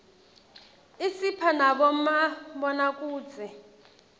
isipha nabomabonakudze